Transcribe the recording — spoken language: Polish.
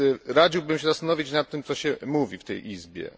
Radziłbym się zastanowić nad tym, co się mówi w tej izbie.